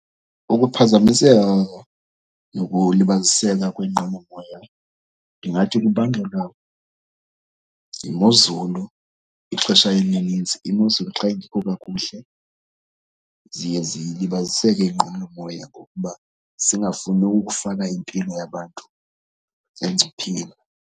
Ukuphazamiseka nokulibaziseka kwenqwelomoya ndingathi kubangelwa yimozulu ixesha elinintsi. Imozulu xa ingekho kakuhle ziye zilibaziseke iinqwelomoya ngokuba zingafuni ukufaka impilo yabantu engcupheni.